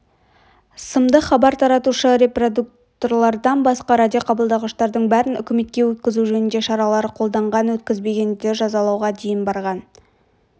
сымдық хабар таратушы репродукторлардан басқа радиоқабылдағыштардың бәрін үкіметке өткізу жөнінде шаралар қолданған өткізбегендерді жазалауға дейін барған